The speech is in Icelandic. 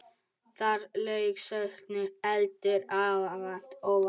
Þar lauk sögnum, heldur óvænt.